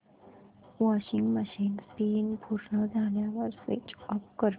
washing machine spin पूर्ण झाल्यावर switch off कर